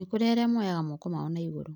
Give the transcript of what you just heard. nĩkurĩ arĩa moyaga moko mao naigũrũrũ